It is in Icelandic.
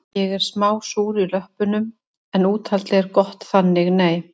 Ég er smá súr í löppum en úthaldið er gott þannig nei